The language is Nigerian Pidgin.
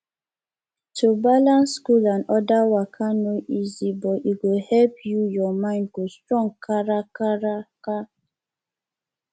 to balance school and other waka no easy but e go help you ur mind go strong kakaraka